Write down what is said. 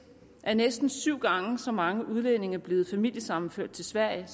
er næsten syv gange så mange udlændinge blevet familiesammenført til sverige